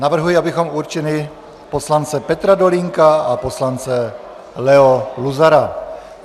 Navrhuji, abychom určili poslance Petra Dolínka a poslance Leo Luzara.